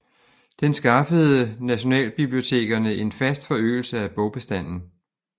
Den skaffede nationalbibliotekerne en fast forøgelse af bogbestanden